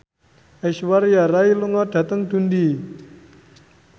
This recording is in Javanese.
Aishwarya Rai lunga dhateng Dundee